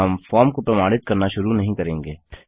हम फॉर्म को प्रमाणित करना शुरू नहीं करेंगे